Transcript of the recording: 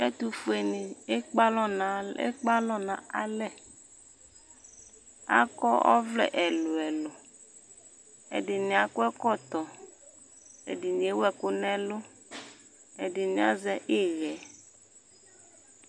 Ɛtʋfuenɩ ekpe alɔ nʋ al ekpe alɔ nʋ alɛ Akɔ ɔvlɛ ɛlʋ-ɛlʋ Ɛdɩnɩ akɔ ɛkɔtɔ, ɛdɩnɩ ewu ɛkʋ nʋ ɛlʋ, ɛdɩnɩ azɛ ɩɣɛ